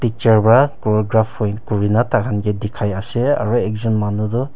chair para corographer kuri ne tai khan ke dikhai ase aru ekjon manu toh--